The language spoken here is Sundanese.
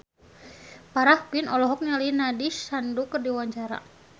Farah Quinn olohok ningali Nandish Sandhu keur diwawancara